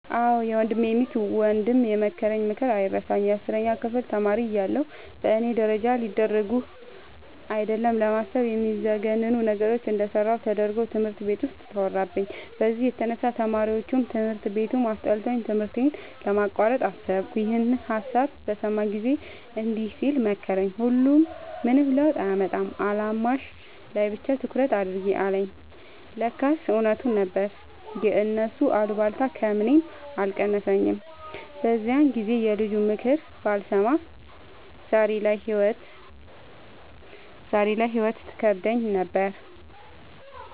አዎ የወንድሜ ሚስት ወንድም የመከረኝ ምክር አይረሳኝም። የአስረኛ ክፍል ተማሪ እያለሁ በእኔ ደረጃ ሊደረጉ አይደለም ለማሰብ የሚዘገንኑ ነገሮችን እንደሰራሁ ተደርጎ ትምህርት ቤት ውስጥ ተወራብኝ። በዚህ የተነሳ ተማሪዎቹም ትምህርት ቤቱም አስጠልቶኝ ትምህርቴን ለማቋረጥ አሰብኩ። ይኸንን ሀሳብ በሰማ ጊዜ እንዲህ ሲል መከረኝ "ሁሉም ምንም ለውጥ አያመጣም አላማሽ ላይ ብቻ ትኩረት አድርጊ" አለኝ። ለካስ እውነቱን ነበር የእነሱ አሉባልታ ከምኔም አልቀነሰኝም። በዛን ጊዜ የልጁንምክር ባልሰማ ዛሬ ላይ ህይወት ትከብደኝ ነበር።